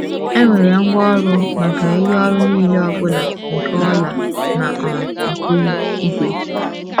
E nwere ngwaọrụ maka “ ihe ọrụ nile ọ bụla nke ọla na um nke ígwè. ”